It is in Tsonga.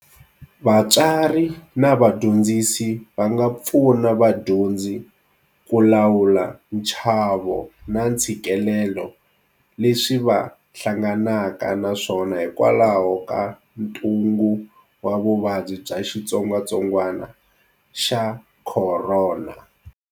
VATSWARI NA VADYONDZISI va nga pfuna vadyondzi ku lawula nchavo na ntshikelelo leswi va hlanganaka na swona hikwalaho ka Ntungu wa Vuvabyi bya Xitsongwatsongwana xa Khorona.